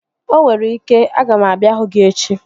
Onwere ike, aga m abịa hụ gị echi